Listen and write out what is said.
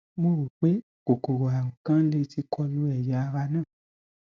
mo rò pé kòkòrò àrùn kan lè ti kọ lu ẹyà ara náà